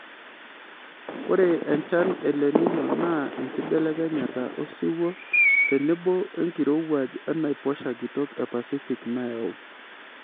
Ore enchan e lenino naa enkibelekenyata osiwuo tenebo enkirowuaj enaiposha kitok e pasific nayau.